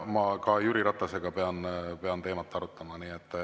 Ma pean ka Jüri Ratasega teemat arutama.